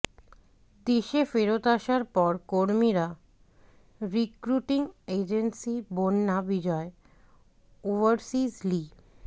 দেশে ফেরত আসার পর কর্মীরা recruiting agency Bonna Bijoy overseas লি